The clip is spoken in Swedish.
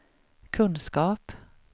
kunskap